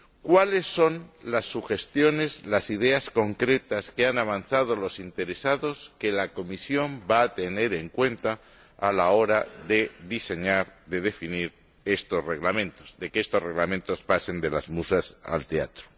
¿Cuáles son las sugestiones, las ideas concretas que han avanzado los interesados que la Comisión va a tener en cuenta a la hora de diseñar, de definir estos Reglamentos, de que estos Reglamentos pasen de las musas al teatro?